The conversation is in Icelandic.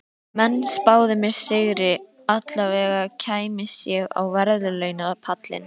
Menn spáðu mér sigri, allavega kæmist ég á verðlaunapallinn.